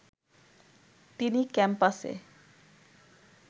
তিনি ক্যাম্পাসে